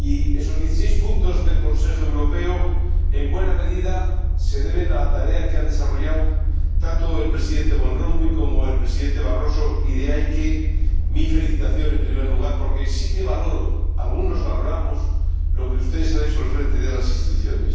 Esos dieciséis puntos del Consejo Europeo se deben en buena medida a la tarea que han desarrollado tanto el Presidente Van Rompuy como el Presidente Barroso, y de ahí mi felicitación, en primer lugar, porque sí valoro, algunos valoramos lo que ustedes han hecho al frente de las Instituciones.